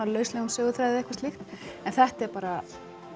söguþræði eða eitthvað slíkt en þetta er bara